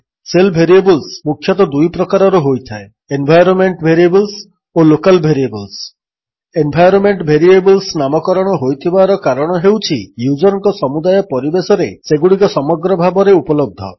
shell variables ମୁଖ୍ୟତଃ ଦୁଇ ପ୍ରକାରର ହୋଇଥାଏ ଏନ୍ଭାଇରୋନ୍ମେଣ୍ଟ ଭେରିଏବଲ୍ସ ଓ ଲୋକାଲ୍ ଭେରିବଲ୍ସ ଏନ୍ଭାଇରୋନ୍ମେଣ୍ଟ ଭେରିଏବଲ୍ସ ନାମକରଣ ହୋଇଥିବାର କାରଣ ହେଉଛି ୟୁଜର୍ଙ୍କ ସମୁଦାୟ ପରିବେଶରେ ସେଗୁଡ଼ିକ ସମଗ୍ର ଭାବେ ଉପଲବ୍ଧ